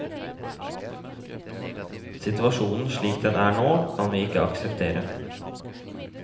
Situasjonen slik den er nå, kan vi ikke akseptere.